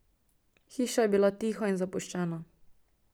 Hiša je bila tiha in zapuščena.